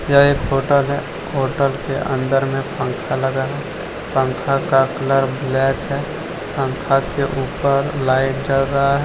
यह एक होटल है होटल के अंदर में पंख लगा है पंखा का कलर ब्लैक है पंखा के ऊपर लाइट जल रहा है।